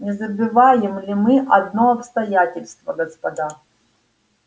не забываем ли мы одно обстоятельство господа